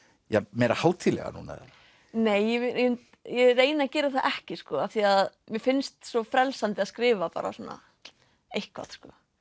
meira hátíðlega núna eða nei ég reyni að gera það ekki af því að mér finnst svo frelsandi að skrifa bara svona eitthvað